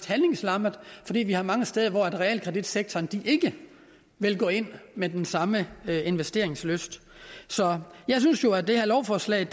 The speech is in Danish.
handlingslammede fordi vi har mange steder hvor realkreditsektoren ikke vil gå ind med den samme investeringslyst så jeg synes jo at det her lovforslag